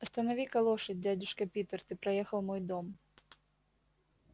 останови-ка лошадь дядюшка питер ты проехал мой дом